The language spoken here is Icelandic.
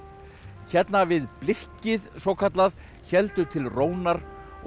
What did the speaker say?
hérna við svokallað héldu til rónar og